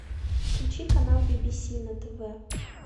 включи канал би би си на тв